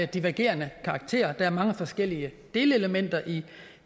divergerende karakter der er mange forskellige delelementer i